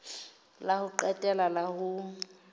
la ho qetela la ho